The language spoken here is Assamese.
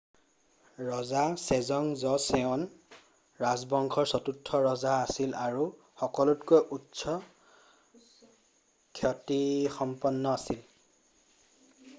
ৰজা ছেজং জ'ছেঅন ৰাজবংশৰ চতুৰ্থ ৰজা আছিল আৰু সকলোতকৈ উচ্চ খ্যাতিসম্পন্ন আছিল